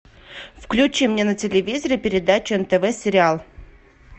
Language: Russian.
включи мне на телевизоре передачу нтв сериал